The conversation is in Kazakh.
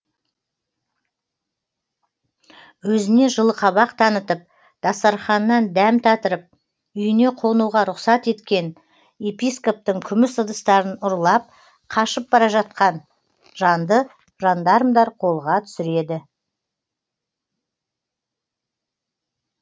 өзіне жылы қабақ танытып дастарханынан дәм татырып үйіне қонуға рұқсат еткен епископтың күміс ыдыстарын ұрлап қашып бара жатқан жанды жандармдар қолға түсіреді